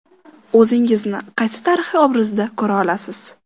O‘zingizni qaysi tarixiy obrazda ko‘ra olasiz?